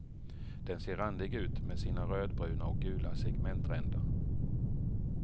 Den ser randig ut med sina rödbruna och gula segmentränder.